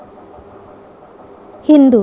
Hindu